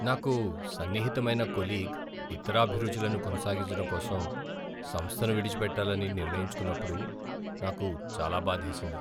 నాకు సన్నిహితమైన కొలీగ్ ఇతర అభిరుచులను కొనసాగించడం కోసం సంస్థను విడిచిపెట్టాలని నిర్ణయించుకున్నప్పుడు నాకు చాలా బాధేసింది.